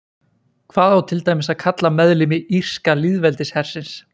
Hvað á til dæmis að kalla meðlimi Írska lýðveldishersins?